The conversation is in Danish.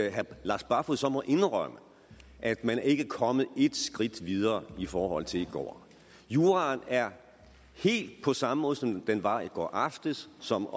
at herre lars barfoed så må indrømme at man ikke er kommet ét skridt videre i forhold til i går juraen er helt på samme måde som den var i går aftes som